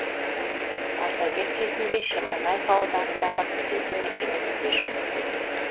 ардагер кезінде шемонайха ауданындағы түзету мекемесінде жұмыс істеген